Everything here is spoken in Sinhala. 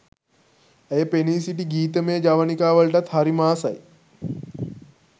ඇය පෙනී සිටි ගීතමය ජවනිකා වලටත් හරිම ආසයි